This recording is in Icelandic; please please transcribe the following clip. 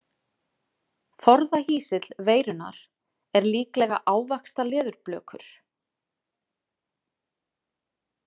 Forðahýsill veirunnar er líklega ávaxtaleðurblökur.